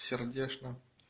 сердечно